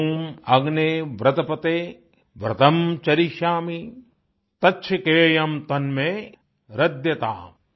ॐ अग्ने व्रतपते व्रतं चरिष्यामि तच्छकेयम तन्मे राध्यताम